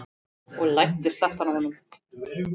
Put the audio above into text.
Og læddist aftan að honum.